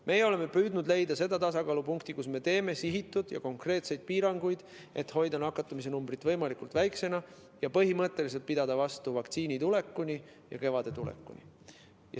Meie oleme püüdnud leida tasakaalupunkti, kus me teeme sihitud ja konkreetseid piiranguid, et hoida nakatumise numbrit võimalikult väiksena ja põhimõtteliselt pidada vastu vaktsiini tulekuni ja kevade tulekuni.